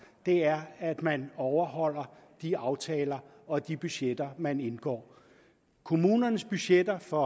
det er at man overholder de aftaler og de budgetter man indgår kommunernes budgetter for